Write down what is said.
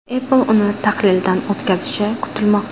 Apple uni tahlildan o‘tkazishi kutilmoqda.